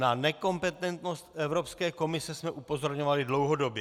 Na nekompetentnost Evropské komise jsme upozorňovali dlouhodobě.